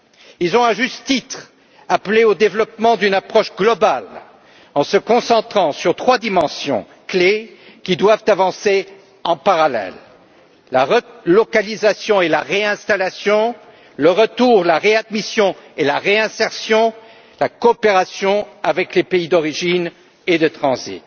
Ils ont, à juste titre, appelé au développement d'une approche globale, en se concentrant sur trois dimensions clés qui doivent avancer en parallèle la relocalisation et la réinstallation, le retour, la réadmission et la réinsertion, la coopération avec les pays d'origine et de transit.